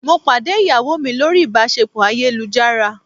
Mo pàdé ìyàwó mi lórí ìbáṣepọ̀ ayélujára.